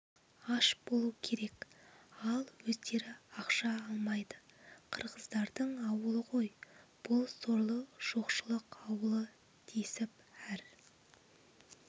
аш болу керек ал өздері ақша алмайды қырғыздың ауылы ғой бұл сорлы жоқшылық ауылы десіп әр